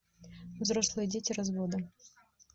взрослые дети развода